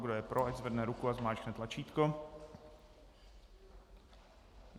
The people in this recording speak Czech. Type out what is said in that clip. Kdo je pro, ať zvedne ruku a zmáčkne tlačítko.